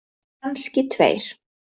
Kannski tveir.